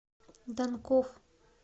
данков